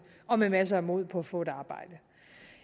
og med masser af mod på at få et arbejde